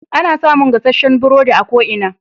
Ana samun gasasshen burodi a ko ina.